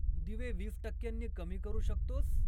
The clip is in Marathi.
दिवे वीस टक्क्यांनी कमी करू शकतोस?